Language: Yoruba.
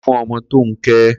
Ko̩rin fún o̩mo̩ tó ń ké!